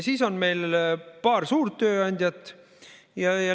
Siis on meil paar suurt tööandjat.